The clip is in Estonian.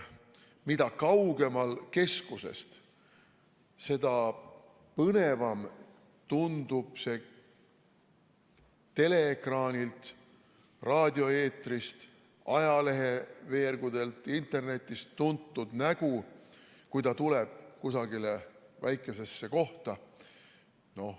Mida kaugemal keskusest, seda põnevam tundub see teleekraanilt, raadioeetrist, ajaleheveergudelt, internetist tuntud nägu, kui ta tuleb kusagile väikesesse kohta.